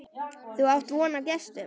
Þú átt von á gestum.